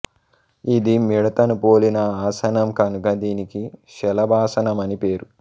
ఇది మిడతను పోలిన ఆసనం కనుక దీనికి శలభాసనమని పేరు